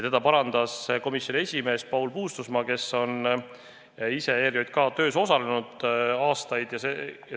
Teda parandas komisjoni esimees Paul Puustusmaa, kes on ise ERJK töös aastaid osalenud.